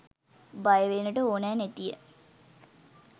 බය වෙන්නට ඕනා නැතිය